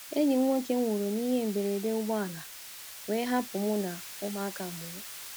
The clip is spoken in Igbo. Enyi m nwoke nwụrụ n’ihe mberede ụgbọala wee hapụ mụ na ụmụaka abụọ.